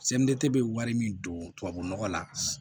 bɛ wari min don tubabu nɔgɔ la